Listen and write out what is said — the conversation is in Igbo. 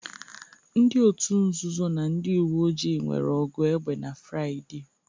Ndị òtù nzuzo na ndị uwe ojii nwere ọgụ egbe na Fraịde